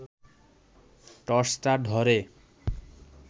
টর্চটা ধরে